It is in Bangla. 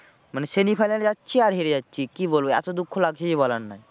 মানে semi final এ যাচ্ছি আর হেরে যাচ্ছি কি বলবো এতো দুঃখ লাগছে যে বলার নয়।